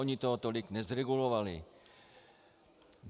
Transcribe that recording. Ony toho tolik nezregulovaly.